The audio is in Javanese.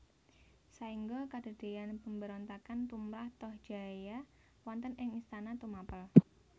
Saengga kadadean pemberontakan tumrap Tohjaya wonten ing istana Tumapel